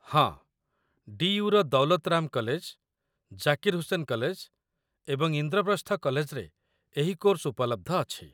ହଁ, ଡି.ୟୁ.ର Daulat Ram college, Zakir Hussain college, ଏବଂ ଇନ୍ଦ୍ରପ୍ରସ୍ଥ କଲେଜରେ ଏହି କୋର୍ସ ଉପଲବ୍ଧ ଅଛି